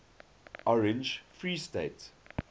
orange free state